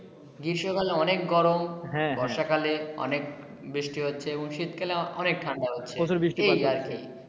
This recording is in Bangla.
গ্রীষ্ম কালে অনেক গরম হ্যা হ্যা বর্ষাকালে অনেক বৃষ্টি হচ্ছে ও শীত কালে অনেক ঠান্ডা হচ্ছে প্রচুর বৃষ্টি পাত হচ্ছে এই আর কি